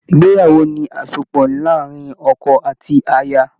Ìgbéyàwó ni àsopọ̀ láàrin ọkọ àti aya